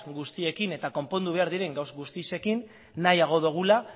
guztiekin eta konpondu behar diren gauza guztiekin nahiago dugula